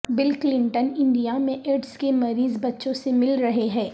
بل Clinton India میں AIDS کے مریض بچوں سے مل رہے ہیں